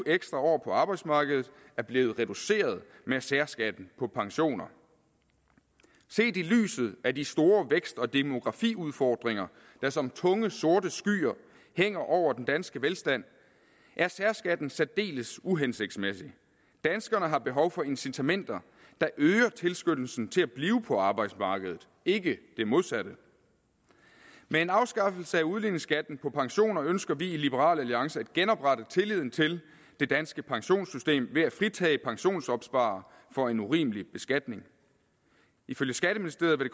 ekstra år på arbejdsmarkedet er blevet reduceret med særskatten på pensioner set i lyset af de store vækst og demografiudfordringer der som tunge sorte skyer hænger over den danske velstand er særskatten særdeles uhensigtsmæssig danskerne har behov for incitamenter der øger tilskyndelsen til at blive på arbejdsmarkedet ikke det modsatte med en afskaffelse af udligningsskatten på pensioner ønsker vi i liberal alliance at genoprette tilliden til det danske pensionssystem ved at fritage pensionsopsparere for en urimelig beskatning ifølge skatteministeriet